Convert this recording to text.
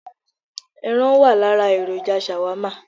Ẹran wà lára èròjà Shawarma